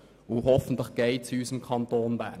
Hoffentlich wird es das auch.